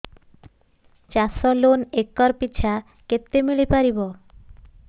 ଚାଷ loan acre ପିଛା କେତେ ମିଳି ପାରିବ